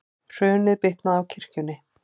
Hrunið bitnaði á kirkjunni